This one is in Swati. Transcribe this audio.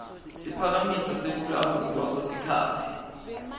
siphakamiso sekulawulwa kwesikhatsi